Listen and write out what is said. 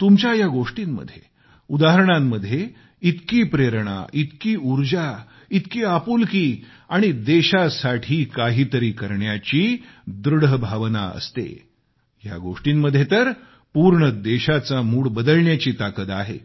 तुमच्या या गोष्टींमध्ये उदाहरणामध्ये इतकी प्रेरणा इतकी उर्जा इतकी आपुलकी आणि देशासाठी काहीतरी करण्याची दृढ भावना असते ह्या गोष्टींमध्ये तर पूर्ण देशाचा मूड बदलण्याची ताकद आहे